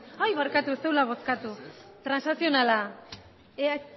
barkatu ez zegoela bozkatuta transazionala